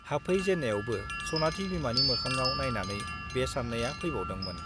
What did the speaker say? हाबफै जेन्नायावबो सनाथि बिमानि मोखाङाव नाइनानै बे सान्नाया फैबावदोंमोन।